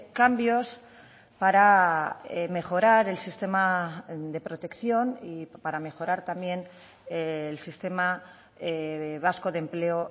cambios para mejorar el sistema de protección y para mejorar también el sistema vasco de empleo